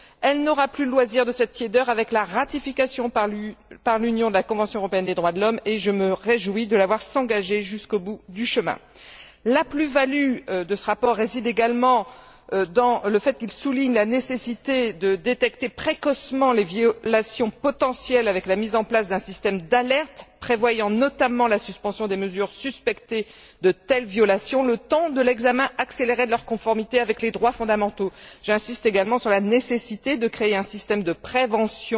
elle n'aura plus le loisir de cette tiédeur avec la ratification, par l'Union, de la Convention européenne des droits de l'homme et je me réjouis de la voir s'engager jusqu'au bout du chemin. La plus value de ce rapport réside également dans le fait qu'il souligne la nécessité de détecter précocement les violations potentielles avec la mise en place d'un système d'alerte prévoyant notamment la suspension des mesures suspectées de telles violations le temps de l'examen accéléré de leur conformité avec les droits fondamentaux. J'insiste également sur la nécessité de créer un système de prévention